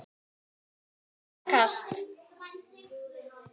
Fyrsta kast